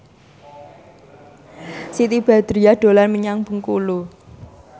Siti Badriah dolan menyang Bengkulu